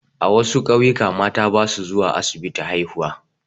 A wasu ƙauyuka mata ba su zuwa asibiti haihuwa.